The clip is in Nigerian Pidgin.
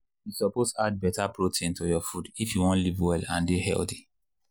you suppose add better protein to your food if you wan live well and dey healthy.